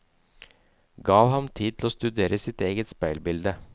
Gav ham tid til å studere sitt eget speilbilde.